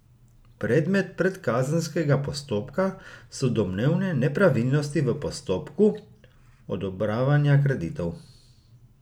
Predmet predkazenskega postopka so domnevne nepravilnosti v postopku odobravanja kreditov.